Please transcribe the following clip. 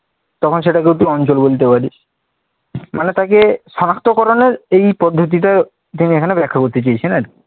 তখন সেটাকেও তুই অঞ্চল বলতে পারিস। মানে তাকে সনাক্তকরণের এই পদ্ধতিটাই তিনি এখানে ব্যাখ্যা করতে চেয়েছেন আরকি ।